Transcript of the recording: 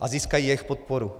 a získají jejich podporu.